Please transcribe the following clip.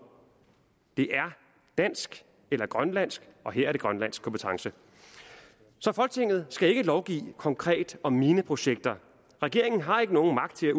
det er dansk eller grønlandsk og her er det grønlandsk kompetence så folketinget skal ikke lovgive konkret om mineprojekter regeringen har ikke nogen magt til